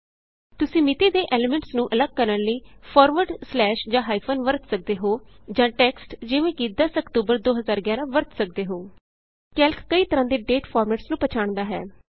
ਤੁਸੀਂ ਮਿਤੀ ਦੇ ਐਲੀਮੈਂਟਸ ਨੂੰ ਅੱਲਗ ਕਰਨ ਲਈ ਫਾਰਵਰਡ ਸਲੈਸ਼ ਜਾਂ ਹਾਈਫਨ ਵਰਤ ਸਕਦੇ ਹੋ ਜਾਂ ਟੈਕਸਟ ਜਿਵੇਂ ਕਿ 10 ਆਕਟੋਬਰ 2011ਵਰਤ ਸਕਦੇ ਹੋ ਕੈਲਕ ਕਈ ਤਰ੍ਹਾ ਦੇ ਦਾਤੇ ਫਾਰਮੈਟਸ ਨੂੰ ਪਛਾਣਦਾ ਹੈ